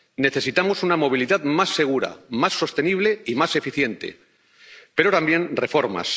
Necesitamos una movilidad más segura, más sostenible y más eficiente, pero también reformas